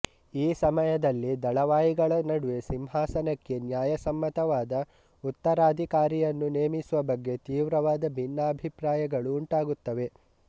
ಈ ಸಮಯದಲ್ಲಿ ದಳವಾಯಿಗಳ ನಡುವೆ ಸಿಂಹಾಸನಕ್ಕೆ ನ್ಯಾಯಸಮ್ಮತವಾದ ಉತ್ತರಾಧಿಕಾರಿಯನ್ನು ನೇಮಿಸುವ ಬಗ್ಗೆ ತೀವ್ರವಾದ ಭಿನ್ನಾಭಿಪ್ರಾಯಗಳು ಉಂಟಾಗುತ್ತವೆ